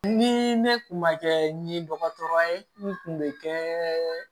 Ni ne kun ma kɛ ɲi dɔgɔtɔrɔ ye n kun bɛ kɛ